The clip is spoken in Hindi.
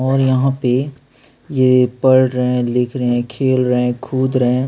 और यहाँ पे ये पढ़ रहे हैं लिख रहे हैं खेल रहे हैं खुद रहे है।